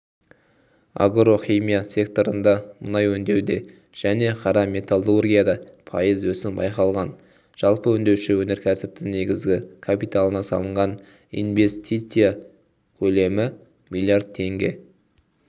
агро-іимия секторында мұнай өңдеуде және қара металлургияда пайыз өсім байқалған жалпы өңдеуші өнеркәсіптің негізгі капиталына салынған инвестиция көлемі миллиард теңге